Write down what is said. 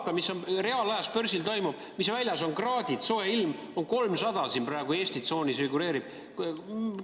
Vaata, mis reaalajas börsil toimub, mis kraadid väljas on, soe ilm, figureerib praegu Eesti tsoonis 300?